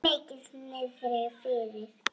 Mikið niðri fyrir.